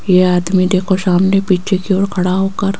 ये आदमी देखो सामने पीछे की ओर खड़ा होकर--